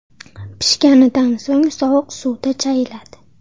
Pishganidan so‘ng sovuq suvda chayiladi.